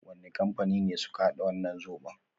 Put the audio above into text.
Wani kampani ne suka hada wannan zobon?